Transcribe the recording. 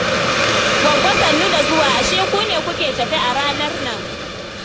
Gwaggo sannu da zuwa, ashe ku ne kuke tafe a ranar nan